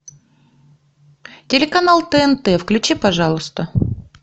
телеканал тнт включи пожалуйста